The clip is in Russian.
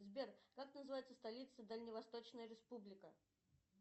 сбер как называется столица дальневосточная республика